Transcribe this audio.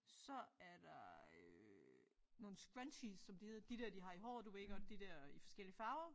Så er der øh nogle scrunchies som de hed de der de har i håret du ved godt de der i forskellige farver